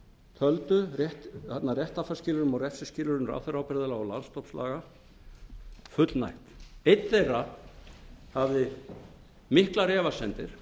töldu réttarfarsskilyrðum og refsiskilyrðum ráðherraábyrgðarlaga og landsdómslaga fullnægt einn þeirra hafði miklar efasemdir